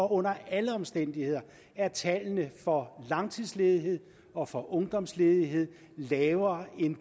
under alle omstændigheder er tallene for langtidsledighed og for ungdomsledighed lavere